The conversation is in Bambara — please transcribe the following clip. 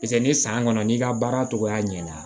Piseke ni san kɔnɔ n'i ka baara cogoya ɲɛna